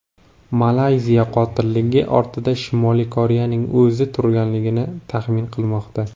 Malayziya qotillik ortida Shimoliy Koreyaning o‘zi turganligini taxmin qilmoqda.